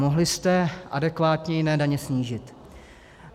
Mohli jste adekvátně jiné daně snížit.